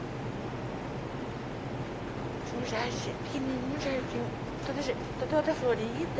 Tinha um jardim, pequenininho jardim, todo de toda florida.